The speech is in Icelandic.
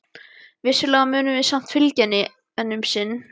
Vissulega munum við samt fylgja henni enn um sinn.